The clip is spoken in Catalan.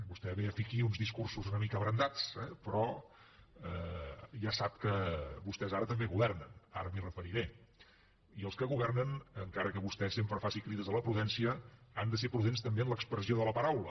vostè ve a fer aquí uns discursos una mica abrandats eh però ja sap que vostès ara també governen ara m’hi referiré i els que governen encara que vostè sempre faci crides a la prudència han de ser prudents també en l’expressió de la paraula